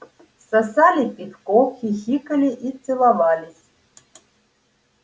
сосали пивко хихикали и целовались